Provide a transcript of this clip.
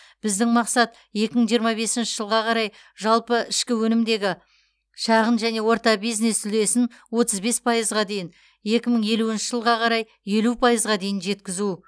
біздің мақсат екі мың жиырма бесінші жылға қарай жалпы ішкі өнімдегі шағын және орта бизнес үлесін отыз бес пайызға дейін екі мың елуінші жылға қарай елу пайызға дейін жеткізу